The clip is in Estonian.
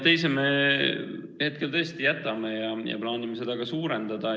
Teise me hetkel tõesti jätame ja plaanime seda ka suurendada.